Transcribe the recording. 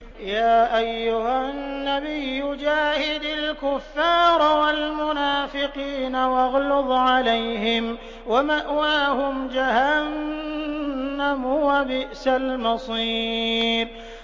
يَا أَيُّهَا النَّبِيُّ جَاهِدِ الْكُفَّارَ وَالْمُنَافِقِينَ وَاغْلُظْ عَلَيْهِمْ ۚ وَمَأْوَاهُمْ جَهَنَّمُ ۖ وَبِئْسَ الْمَصِيرُ